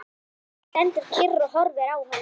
Hann stendur kyrr og horfir á hana.